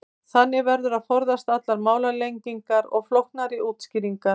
þannig verður að forðast allar málalengingar og flóknari útskýringar